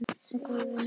Og góður vinur.